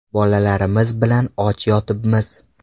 Bolalarimiz bilan och yotibmiz.